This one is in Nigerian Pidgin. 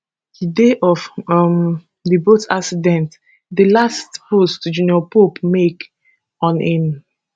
di day of um di boat accident di last post junior pope make on im